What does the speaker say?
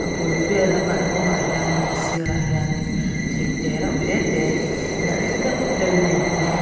bul vela kalkawngah hian in a sirah hian in thing te reuh te te nalh deuh deuh in a in phun a.